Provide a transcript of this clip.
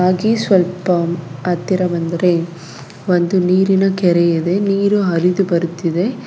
ಹಾಗೆ ಸ್ವಲ್ಪ ಹತ್ತಿರ ಬಂದ್ರೆ ಒಂದು ನೀರಿನ ಕೆರೆ ಇದೆ ನೀರು ಹರಿದು ಬರುತ್ತಿದೆ.